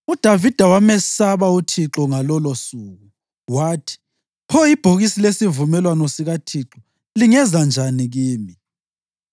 UDavida wamesaba uThixo ngalolosuku, wathi, “Pho ibhokisi lesivumelwano sikaThixo lingeza njani kimi?”